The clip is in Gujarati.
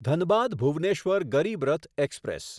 ધનબાદ ભુવનેશ્વર ગરીબ રથ એક્સપ્રેસ